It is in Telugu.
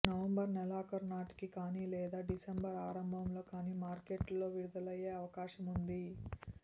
నవంబర్ నెలాఖరు నాటికి కానీ లేదా డిసెంబర్ ఆరంభంలో కానీ మార్కెట్లో విడుదలయ్యే అవకాశం ఉంది